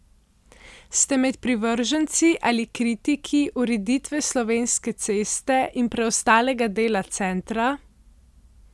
Ste med privrženci ali kritiki ureditve Slovenske ceste in preostalega dela centra?